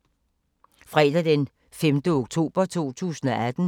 Fredag d. 5. oktober 2018